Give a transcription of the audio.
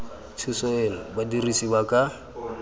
thuso eno badirisi ba ka